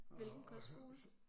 Hvilken kostskole?